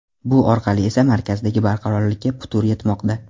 Bu orqali esa markazdagi barqarorlikka putur yetmoqda.